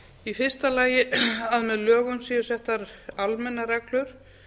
í fyrsta lagi að með lögum séu settar almennar reglur